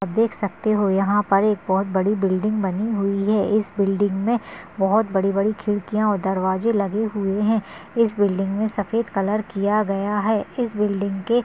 आप देख सकते हो यहाँ पर एक बहुत बड़ी बिल्डिंग बानी हुई हैं। इस बिल्डिंग में बहुत बड़ी बड़ी खिड़किया और दरवाजे बने हुए हैं। इस बिल्डिंग में सफ़ेद कलर किया गया हैं। इस बिल्डिंग के--